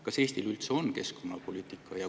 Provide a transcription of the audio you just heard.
Kas Eestil üldse on keskkonnapoliitika?